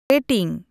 rating